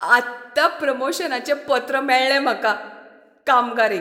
आत्तां प्रमोशनाचें पत्र मेळ्ळें म्हाका. कामगार एक